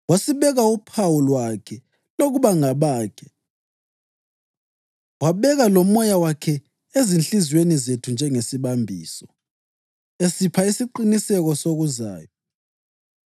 wasibeka uphawu lwakhe lokuba ngabakhe, wabeka loMoya wakhe ezinhliziyweni zethu njengesibambiso, esipha isiqiniseko sokuzayo.